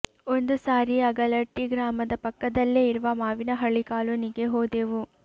ಒಂದು ಸಾರಿ ಅಗಲಟ್ಟಿ ಗ್ರಾಮದ ಪಕ್ಕದಲ್ಲೇ ಇರುವ ಮಾವಿನಹಳ್ಳಿ ಕಾಲೊನಿಗೆ ಹೋದೆವು